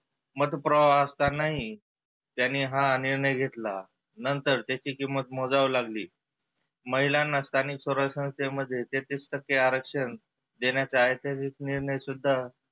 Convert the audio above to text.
मत प्रवाह असतानाही त्यांनी हा निर्णय घेतला नंतर त्याची किंमत मोजावी लागली. महिलांना स्थानीक संस्थेमध्ये तेहत्तीस आरक्षण देण्यात ऐतीहासीक निर्णय सुद्धा